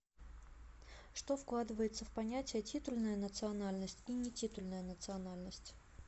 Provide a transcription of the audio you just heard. что вкладывается в понятия титульная национальность и нетитульная национальность